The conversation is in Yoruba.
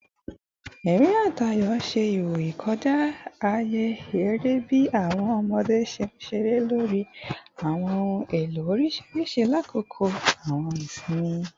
Ẹrín ati ayọ ṣe iwoyi kọja aaye ere bi awọn ọmọde ṣe nṣere lori awọn ohun elo oriṣiriṣi lakoko awọn isinmi